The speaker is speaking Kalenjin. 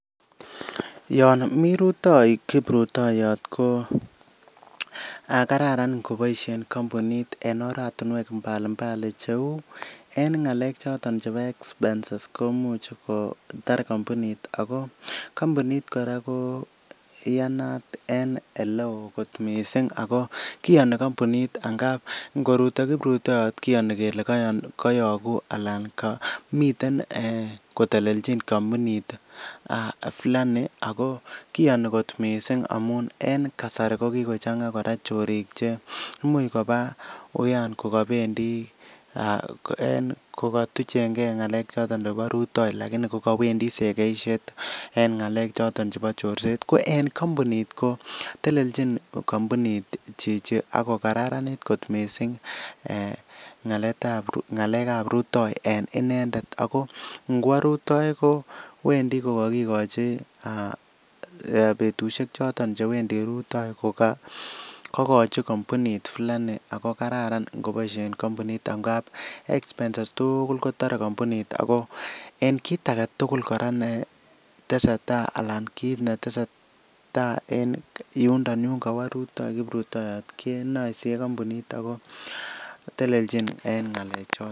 Yon mii rutoi kiprutoiyot koo kararan ngoboisien kampunit en oratinwek mbalimbali cheu en ng'alek choton chebo expenses komuch kotar kampunit akoo kampunit kora koo iyan en eleo missing akoo kiyani kampunit angap ngoruto kiprutoiyot kiyani kele koyoku alan komiten kotelechin kampunit fulani akoo kiyani kot missing en kasari kokikochang'aa chorik che imuch kobaa uyan kokobendii en kokotuchengee ng'alek chebo rutoi lakini kokowendi sekeisiet, en ng'alek choton chebo chorset, ko en kampunit ko telechin kampunit chichi ako kararanit kot missing eeh ng'alekab rutoi en inendet akoo ngwo rutoi ko wendi kokokikochi aah betusiek choton chewendi rutoi kokoikochi kampunit fulani ako kararan angoboisien kampuni ngap expenses tuugul kotore kampunit akoo en kit agetugul kora netese tai alan kit netese taa en yundon yungowo rutoi kiprutoiyot kenaisie kampunit akoo telelchin en ng'alechoton.